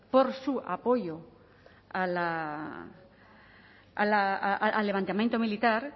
por su apoyo al levantamiento militar